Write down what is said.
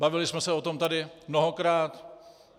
Bavili jsme se o tom tady mnohokrát.